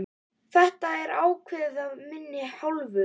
Þetta er ákveðið af minni hálfu!